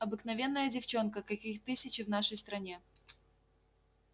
обыкновенная девчонка каких тысячи в нашей стране